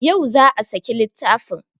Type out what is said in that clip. Yau za a saki littafin